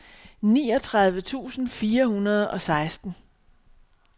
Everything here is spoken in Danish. niogtredive tusind fire hundrede og seksten